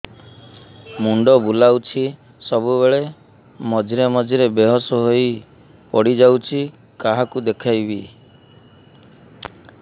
ମୁଣ୍ଡ ବୁଲାଉଛି ସବୁବେଳେ ମଝିରେ ମଝିରେ ବେହୋସ ହେଇ ପଡିଯାଉଛି କାହାକୁ ଦେଖେଇବି